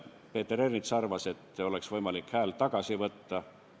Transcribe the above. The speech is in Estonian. Peeter Ernits arvas, et võiks olla võimalik häält tagasi võtta.